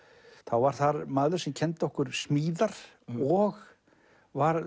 var þar maður sem kenndi okkur smíðar og var